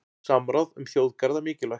Samráð um þjóðgarða mikilvægt